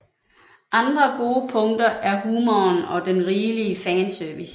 Andre gode punkter er humoren og den rigelige fanservice